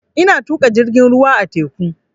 Ina tuƙa jirgin ruwa a teku